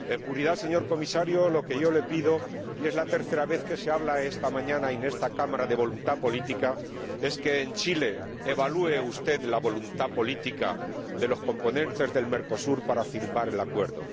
En puridad, señor Comisario, lo que yo le pido, y es la tercera vez que se habla esta mañana y en esta Cámara de voluntad política, es que en Chile evalúe usted la voluntad política de los componentes de Mercosur para firmar el acuerdo.